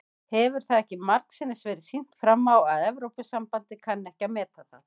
Hefur það ekki margsinnis verið sýnt fram á að Evrópusambandið kann ekki að meta það?